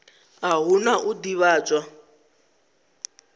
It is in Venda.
a hu na u ḓivhadzwa